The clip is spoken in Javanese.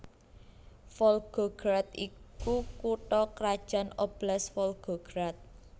Volgograd iku kutha krajan Oblast Volgograd